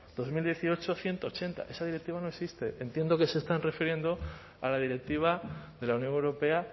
dos mil dieciocho barra ciento ochenta esa directiva no existe entiendo que se están refiriendo a la directiva de la unión europea